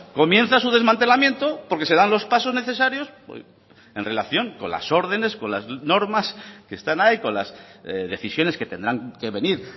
comienza su desmantelamiento porque se dan los pasos necesarios en relación con las órdenes con las normas que están ahí con las decisiones que tendrán que venir